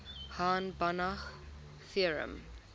hahn banach theorem